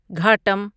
گھاٹم